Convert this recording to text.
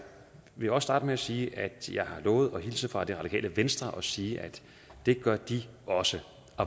vil også starte med at sige at jeg har lovet at hilse fra det radikale venstre og sige at det gør de også